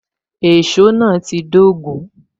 Èsó náà ti dogun